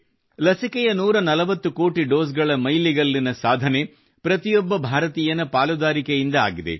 ಲಸಿಕೆಯ 140 ಕೋಟಿ ಡೋಸ್ ಗಳ ಮೈಲಿಗಲ್ಲಿನ ಸಾಧನೆ ಪ್ರತಿಯೊಬ್ಬ ಭಾರತೀಯರ ಪಾಲುದಾರಿಕೆಯಿಂದಾಗಿದೆ